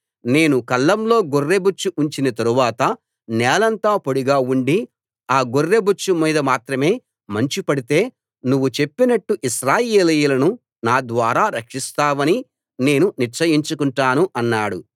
నేను కళ్లంలో గొర్రెబొచ్చు ఉంచిన తరువాత నేలంతా పొడిగా ఉండి ఆ గొర్రెబొచ్చు మీద మాత్రమే మంచు పడితే నువ్వు చెప్పినట్టు ఇశ్రాయేలీయులను నా ద్వారా రక్షిస్తావని నేను నిశ్చయించుకుంటాను అన్నాడు